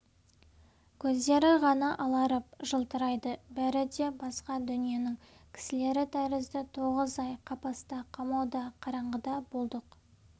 көздері ғана аларып жылтырайды бәрі де басқа дүниенің кісілері тәрізді тоғыз ай қапаста қамауда қараңғыда болдық